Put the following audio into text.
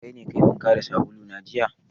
Kaine kayi wanka da sabulu na jiya?